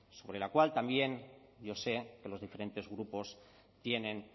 sobre la cual también yo sé que los diferentes grupos tienen